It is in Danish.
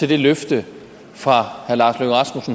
det løfte